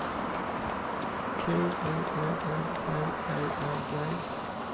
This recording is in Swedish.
K O L L B E R G